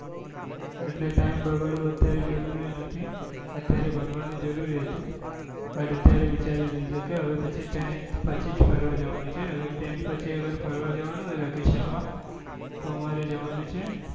એટલે time બગડવો અત્યારે જરૂરી નથી અત્યારે ભણવા નું જરૂરી હતું પણ અત્યારે વિચારી લીધું કે હવે tenth પછી જ ફરવા જવા નું છે અગર vacation પછી ફરવા જવા નું હોય vacation માં તો અમારે જવા નું છે